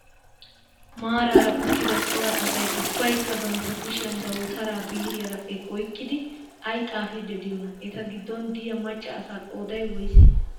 Maaraara uttida cora asay ubbaykka bantta kushiyan dawutaraara biiriiyaara oykkidi ayi xaapiddi diyoonaa? Eta giddon de''iyaa macca asaa qoodayi woyisee?